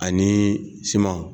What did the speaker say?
Ani siman.